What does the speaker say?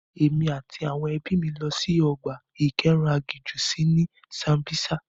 Èmi àti àwọn ẹbí mi lọ sí ọgbà ìkóeran agijù sí ní Sambisa.